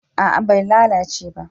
a'a bai lalace ba